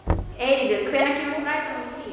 Eiríkur, hvenær kemur strætó númer tíu?